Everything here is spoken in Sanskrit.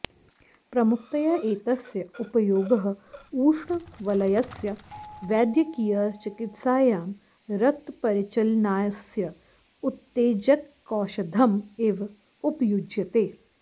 प्रमुखतया एतस्य उपयोगः उष्णवलयस्य वैद्यकीयचिकित्सायां रक्तपरिचलनास्य उत्तेजकौषधम् इव उपयुज्यते